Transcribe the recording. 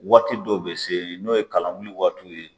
Waati dɔw bɛ se n'o ye kalanwuli waatiw ye.